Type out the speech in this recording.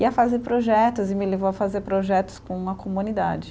E a fazer projetos, e me levou a fazer projetos com a comunidade.